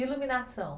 E iluminação?